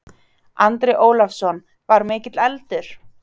Andri Ólafsson: Var mikill eldur?